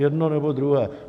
Jedno, nebo druhé.